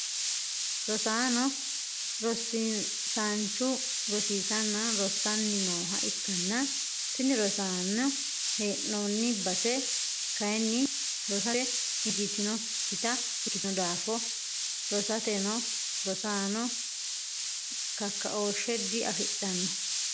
rosaano rosiisaanchu rosiisanna rossanni nooha ikkanna, tini ronsanni hee'noonni base kayiinni rosate njiitinokkita ikkitino daafo rosateno rosaano kakkaooshshe di afidhanno.